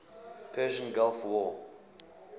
persian gulf war